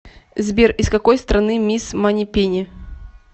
сбер из какой страны мисс манипени